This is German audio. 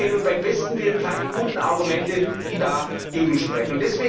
Ich sehe nun beim besten Willen keine guten Argumente, die dagegen sprechen.